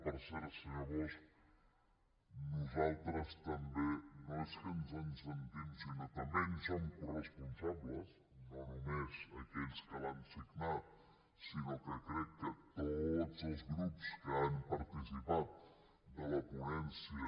per cert senyor bosch nosaltres també no és que ens en sentim sinó que també en som coresponsables no només aquells que l’han signat sinó que crec que tots els grups que han participat de la ponència